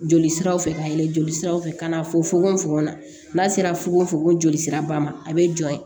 Joli siraw fɛ ka yɛlɛn joli siraw fɛ ka na fɔ fogofogo la n'a sera fugonfugon joli sira ba ma a bɛ jɔ yen